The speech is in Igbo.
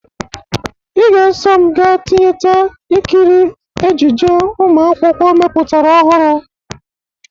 Ị ga-eso m ga tịyeta ịkịrị ejije ụmụ akwụkwó mepụtara ọhụrụ!